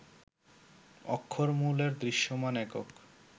অক্ষরমূলের দৃশ্যমান একক